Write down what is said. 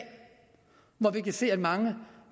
hvor vi kan se at mange